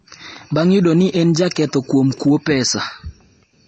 bang’ yudo ni en jaketho kuom kuo pesa